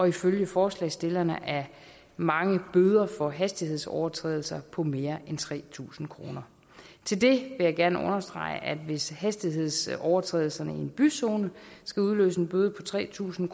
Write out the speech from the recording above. ifølge forslagsstillerne er mange bøder for hastighedsovertrædelser på mere end tre tusind kroner til det vil jeg gerne understrege at hvis hastighedsovertrædelserne i en byzone skal udløse en bøde på tre tusind